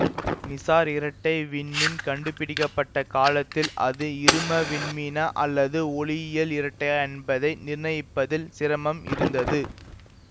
Mizar இரட்டை விண்மீன் கண்டுபிடிக்க பட்ட காலத்தில் அது இரும விண்மீனா அல்லது ஒளியியல் இரட்டையா என்பதை நிர்ணயிப்பதில் சிரமம் இருந்தது